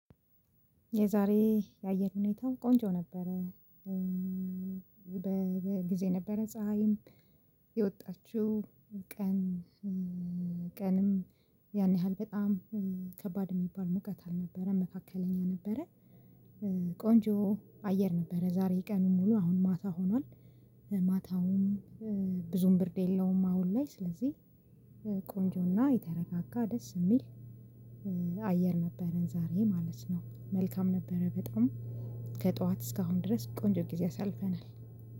የዛሬ የአየር ሁኔታው ቆንጆ ነበረ። በጊዜ ነበረ ፀሀይም የወጣችው ቀን ቀንም ያን ያህል በጣም ከባድ የሚባል ሙቀት አልነበረም መካከለኛ ነበረ። ቆንጆ አየር ነበረ ዛሬ ቀኑን ሙሉ አሁን ማታ ሆኗል። ማታውም ብዙም ብርድ የለውም። አሁን ላይ ስለዚህ ቆንጆና የተረጋጋ ደስ የሚል አየር ነበረን ዛሬ ማለት ነው። መልካም ነበረ። በጣም ከጠዋት እስካሁን ድረስ ቆንጆ ጊዜ አሳልፈናል።